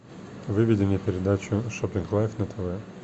выведи мне передачу шоппинг лайф на тв